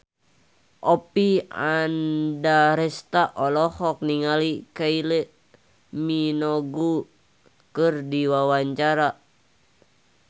Oppie Andaresta olohok ningali Kylie Minogue keur diwawancara